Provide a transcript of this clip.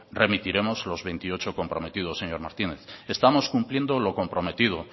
remitiremos los veintiocho comprometidos señor martínez estamos cumpliendo lo comprometido